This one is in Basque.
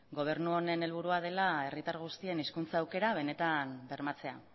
gobernu honen helburua dela herritar guztien hizkuntza aukera benetan bermatzea